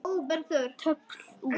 Tólf út.